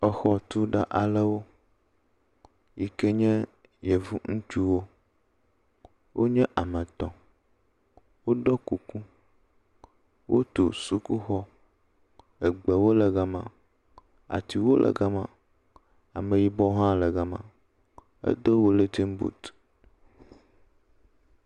Exɔtula aɖewo yi ke nye yevŋutsuwo. Wonye ame etɔ̃. Woɖɔ kuku, wotu sukuxɔ egbewo le ga ma. Atiwo le ga ma. Ameyibɔ hã le ga me. Edo wilintin buti.